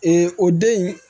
o den in